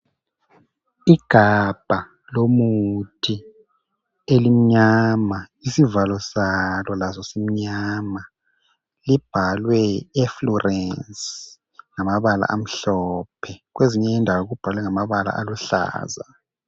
Igabha lomuthi elimnyama, isivalo salo laso simnyama. Libhalwe eflurance ngamabala amhlophe. Kwezinye indawo kubhalwe ngamabala aluhlaza.